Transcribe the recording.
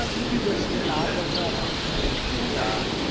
யூடியுபர்ஸுக்கு நாலு லட்சம் அஞ்சு லட்சம்ன்னு views போகும்டா.